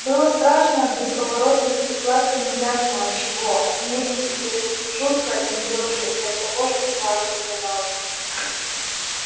было страшно от бесповоротности и сладко неясно от чего от мести и жутко от нее же и от того что сладко оказалось